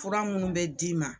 Fura minnu bɛ d'i ma